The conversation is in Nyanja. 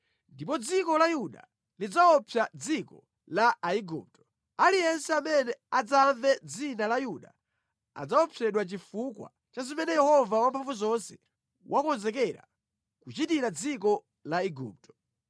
Ndipo dziko la Yuda lidzaopsa dziko la Aigupto. Aliyense amene adzamve dzina la Yuda adzaopsedwa chifukwa cha zimene Yehova Wamphamvuzonse wakonzekera kuchitira dziko la Igupto.